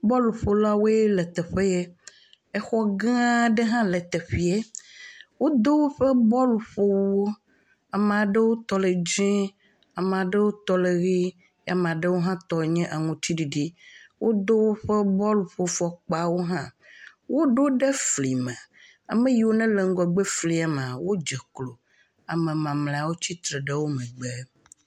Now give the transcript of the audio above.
bɔlu ƒola woe ya le teƒe ya. Exɔ gã aɖe hã le teƒea. Wodo woƒe bɔlu ƒo esiwo. Ame aɖewo tɔ le ɣi, ame aɖewo tɔ le dzɛ ye ame aɖewo tɔ nye aŋuti ɖiɖi. Wodo woƒe bɔlu fɔkpa wò hã. Woɖo wò ɖe fli me. Ame yiwo le fli ŋgɔgbea maa wò dze klo. Ame mamlɛwo tsi tre ɖe megbe.